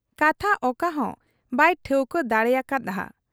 ᱠᱟᱛᱷᱟ ᱚᱠᱟᱦᱚᱸ ᱵᱟᱭ ᱴᱷᱟᱹᱣᱠᱟᱹ ᱫᱟᱲᱮᱭᱟᱠᱟ ᱦᱟᱫ ᱟ ᱾